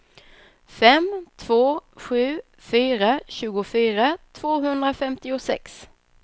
fem två sju fyra tjugofyra tvåhundrafemtiosex